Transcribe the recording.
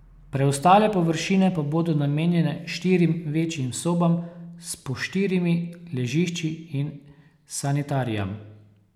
Preostale površine pa bodo namenjene štirim večjim sobam s po štirimi ležišči in sanitarijam.